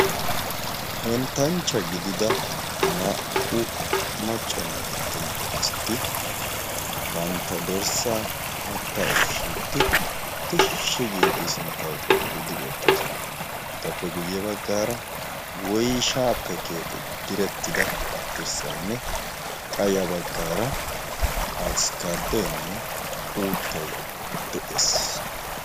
henttanchcha gidida naa77u maccanne attuma asati bantta dorssaa haatta ushshiiddi tishshi giidi sinttau xeelliidi beettoosona etappe guyye baggaara woishaappe keexetidi direttida dirssaynne quyya baggaara afkkaadoinne uuttai de7ees